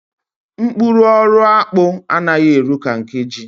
Mkpụrụ ọrụ akpụ anaghi eru ka nke ji.